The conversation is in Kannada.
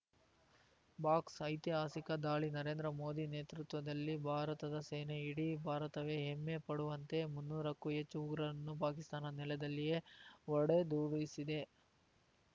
ಬಾಕ್ಸ್‌ ಐತಿಹಾಸಿಕ ದಾಳಿ ನರೇಂದ್ರ ಮೋದಿ ನೇತೃತ್ವದಲ್ಲಿ ಭಾರತದ ಸೇನೆ ಇಡೀ ಭಾರತವೇ ಹೆಮ್ಮೆ ಪಡುವಂತೆ ಮುನ್ನೂರಕ್ಕೂ ಹೆಚ್ಚು ಉಗ್ರರನ್ನು ಪಾಕಿಸ್ತಾನದ ನೆಲದಲ್ಲಿಯೇ ಹೊಡೆದುರುಳಿಸಿದೆ